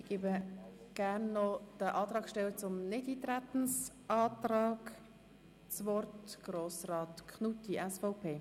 Nun hat jemand von den Antragstellern zum Nichteintretensantrag das Wort, Grossrat Knutti, SVP.